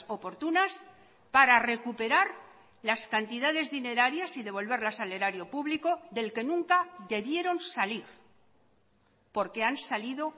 oportunas para recuperar las cantidades dinerarias y devolverlas al erario público del que nunca debieron salir porque han salido